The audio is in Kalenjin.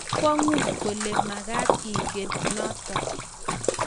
Bo kwangut kole magat ingen noto